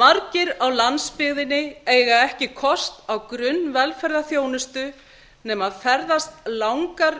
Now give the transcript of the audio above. margir á landsbyggðinni eiga ekki kost á grunnvelferðarþjónustu nema ferðast langar